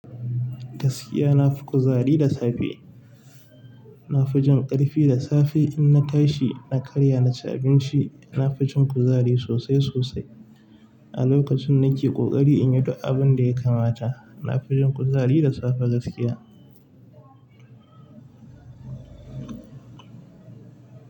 Gaskiya na fi kuzari da safe. Na fi jin ƙarfi da safe in na tashi na karya na ci abinci. Na fi jin kuzari sosai sosai a lokacin na ke ƙoƙari in yi duk abun da ya kamata. Na fi jin kuzari da safe gaskiya.